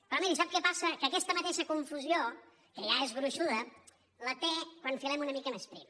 però miri sap què passa que aquesta mateixa confusió que ja és gruixuda la té quan filem una mica més prim